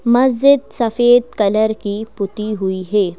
मस्जिद सफेद कलर की पुती हुई है।